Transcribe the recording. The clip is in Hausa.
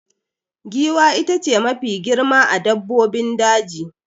Giwa ita ce Mafi girma a dabbobin daji